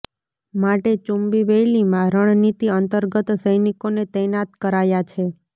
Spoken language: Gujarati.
માટે ચુંબી વૈલીમાં રણનીતિ અંતર્ગત સૈનિકોને તૈનાત કરાયા છે